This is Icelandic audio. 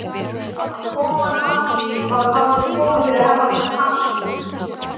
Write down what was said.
Að komast að því hvað hafði komið fyrir Herra Takashi.